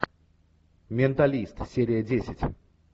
менталист серия десять